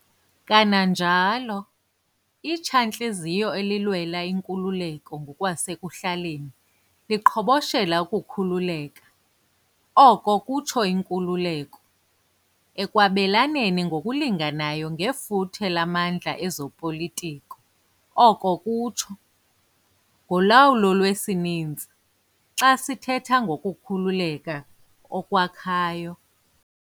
Kananjalo, itsha-ntliziyo elilwela inkululeko ngokwasekuhlaleni liqhoboshela ukukhululeka, okokutsho, inkululeko, ekwabelaneni ngokulinganayo ngefuthe lamandlaezopolitiko oko kutsho, ngolawulo lwesininzi, xa sithetha ngokukhululeka okwakhayo.